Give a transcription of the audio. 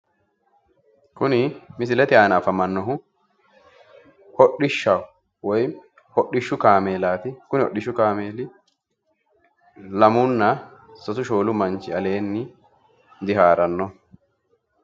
Kuni misilete aana afamannohu hodhishshaho woy hodhishshu kaameelaati kuni hodhishshu kaameeli lamunna sasu shoolu manchi aleenni diharannoho.